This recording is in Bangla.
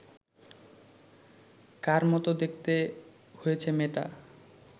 কার মতো দেখতে হয়েছে মেয়েটা